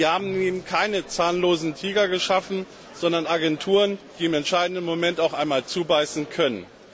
Wir haben eben keine zahnlosen Tiger geschaffen, sondern Agenturen, die im entscheidenden Moment auch einmal zubeißen können.